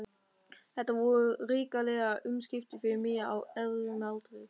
Þetta voru hrikaleg umskipti fyrir mig á erfiðum aldri.